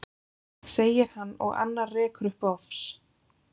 segir hann og annar rekur upp bofs.